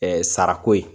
sarako ye